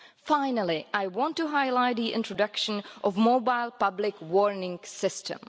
Finally, I want to highlight the introduction of the mobile public warning system.